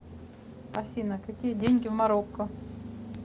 афина какие деньги в марокко